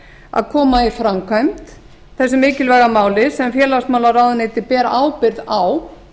að koma í framkvæmd þessu mikilvæga máli sem félagsmálaráðuneytið ber ábyrgð á